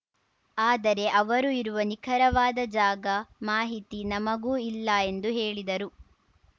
ಆದರೆ ಅವರು ಇರುವ ನಿಖರವಾದ ಜಾಗ ಮಾಹಿತಿ ನಮಗೂ ಇಲ್ಲ ಎಂದು ಹೇಳಿದರು